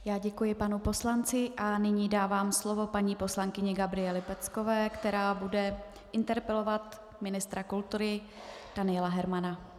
Já děkuji panu poslanci a nyní dávám slovo paní poslankyni Gabriele Peckové, která bude interpelovat ministra kultury Daniela Hermana.